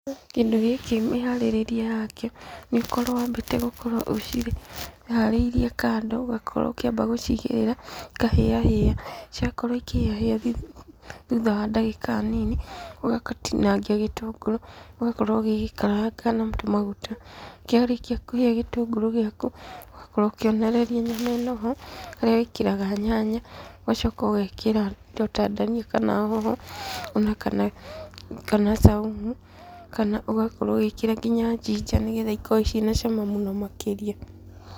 Kĩndũ gĩkĩ mĩharĩrĩrie yakĩo, nĩũkorwo wambĩte gũkorwo ũciharĩirie kando, ũgakorwo ũkĩamba gũcigĩrĩra, ikahĩa hĩa. Ciakorwo ikĩhĩa hĩa thutha wa ndagĩka nini, ũgatinangia gĩtũngũrũ, ũgakorwo ũgĩgĩkaranga na tũmaguta. Kĩarĩkia kũhĩa gĩtũngũrũ gĩaku, ũgakorwo ũkĩonoreria nyama ĩno ho, harĩa wĩkĩraga nyanya, ũgacoka ũgekĩra indo ta ndania kana hoho, ona kana caumu, kana ũgakorwo ũgĩkĩra nginya njinja nĩgetha ikorwo ciĩna cama mũno makĩria.